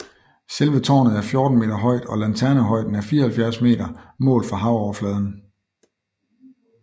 Selve tårnet er 14 meter højt og lanternehøjden er 74 meter målt fra havoverfladen